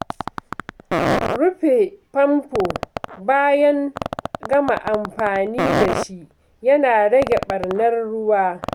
Rufe famfo bayan gama amfani dashi yana rage ɓarnar ruwa